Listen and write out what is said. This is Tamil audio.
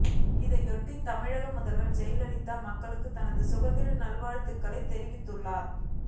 இதையொட்டி தமிழக முதல்வர் ஜெயலலிதா மக்களுக்கு தனது சுதந்திர நல்வாழ்த்துக்களைத் தெரிவித்துள்ளார்